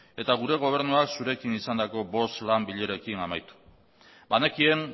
eta gure gobernuak zurekin izandako bost lan bilerekin amaitu banekien